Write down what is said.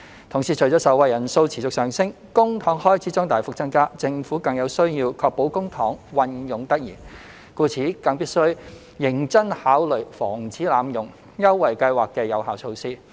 同時，隨着受惠人數持續上升，公帑開支將大幅增加，政府更有需要確保公帑運用得宜，故此必須認真考慮防止濫用優惠計劃的有效措施。